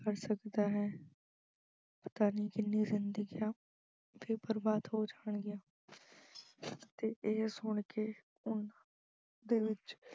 ਕਰ ਸਕਦਾ ਹੈ ਪਤਾ ਨਹੀਂ ਕਿੰਨੀਆਂ ਜ਼ਿੰਦਗੀਆਂ ਫੇਰ ਬਰਬਾਦ ਹੋ ਜਾਣਗੀਆਂ ਅਤੇ ਇਹ ਸੁਣ ਕੇ ਉਹਨਾਂ ਦੇ ਵਿੱਚ